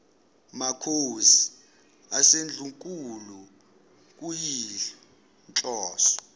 makhosi asendlunkulu kuyinhloso